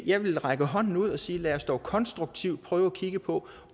jeg vil række hånden ud og sige lad os dog konstruktivt prøve at kigge på